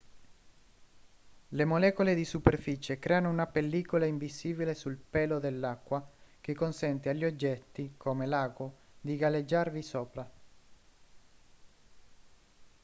le molecole di superficie creano una pellicola invisibile sul pelo dell'acqua che consente agli oggetti come l'ago di galleggiarvi sopra